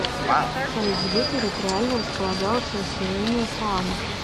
салют где территориально располагалось расселение саамов